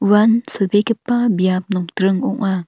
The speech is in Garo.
uan silbegipa biap nokdring ong·a.